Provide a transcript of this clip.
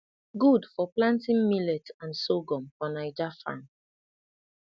good for planting millet and sorghum for naija farm